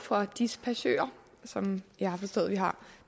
for dispachører som jeg har forstået vi har